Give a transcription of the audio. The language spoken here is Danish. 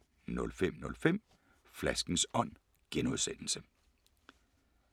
05:05: Flaskens Ånd (G)